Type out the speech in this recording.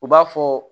U b'a fɔ